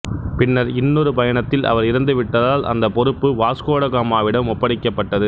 பின்னர் இன்னொரு பயணத்தில் அவர் இறந்து விட்டதால் அந்த பொறுப்பு வாஸ்கோ ட காமாவிடம் ஒப்படைக்கப்பட்டது